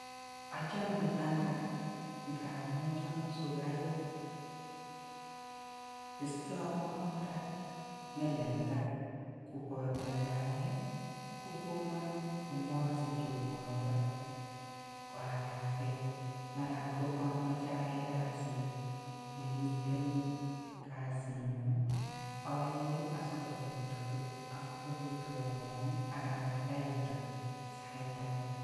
Ochome fanta ngamun chomu sukaruk, istewon koraa melelda koboto ndayee kokonon komosich ruondoo akaken maran kokomoche ayai kasit nemiten kasinyun ayee asikobit kobetwon ruonik aka abaibaitu sait ake.